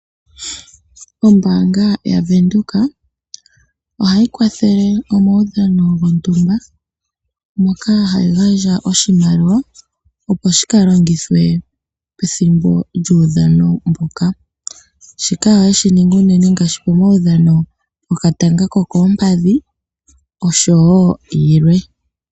Ombaanga yaVenduka ohayi kwathele omaudhano gontumba moka hayi gandja oshimaliwa, opo shi ka longithwe pethimbo lyomaudhano ngaka. Shika ohayi shi ningi unene ngaashi komaudhano gokatanga ko koompadhi nagalwe.